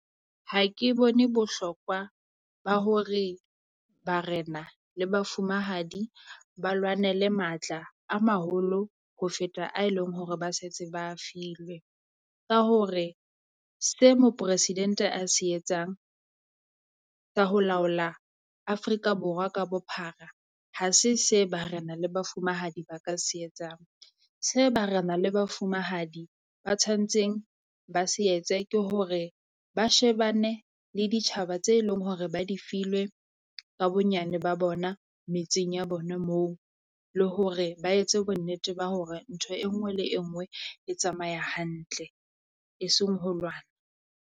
Ha ke bone bohlokwa ba hore barena le bafumahadi ba lwanele matla a maholo ho feta a eleng hore ba setse ba a filwe. Ka hore se Moporesidente a se etsang ka ho laola Afrika Borwa ka bophara. Ha se se barena le bafumahadi ba ka se etsang, se barena le bafumahadi ba tshwantseng ba se etse ke hore ba shebane le ditjhaba tse eleng hore ba di filwe ka bonyane ba bona metseng ya bona moo. Le hore ba etse bonnete ba hore ntho e nngwe le e nngwe e tsamaya hantle eseng ho lwana.